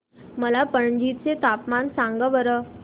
मला पणजी चे तापमान सांगा बरं